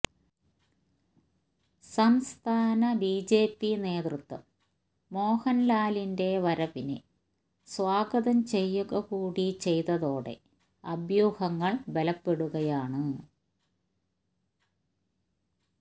സംസ്ഥാന ബിജെപി നേതൃത്വം മോഹന്ലാലിന്റെ വരവിനെ സ്വാഗതം ചെയ്യുക കൂടി ചെയ്തതോടെ അഭ്യൂഹങ്ങള് ബലപ്പെടുകയാണ്